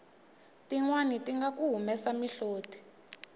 tinwani tinga ku humesa mihloti